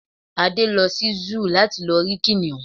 Adé lo sí Zúù láti lọ rí kìnìún